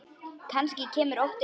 Kannski kemur óttinn aftur.